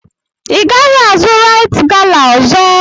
Ị gaghị azụ raịt gala ọzọ!